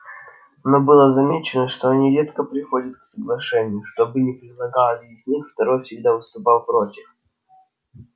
но было замечено что они редко приходят к соглашению что бы ни предлагал один из них второй всегда выступал против